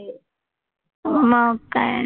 मग काय?